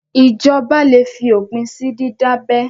Ìjọba le fi òpin sí dídábẹ.